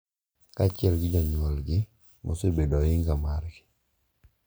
Kaachiel gi jonyuolgi ma osebedo oinga margi.